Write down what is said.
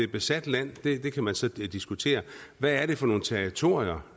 besat land kan man så diskutere hvad er det for nogle territorier